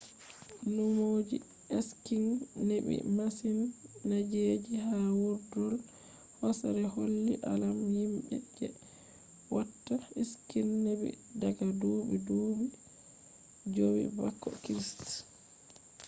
numo je skiing nebi masin-- zaneji ha vurdol hosere holli alama himbe je watta skiing nebi daga dubi dubu jowi bako christ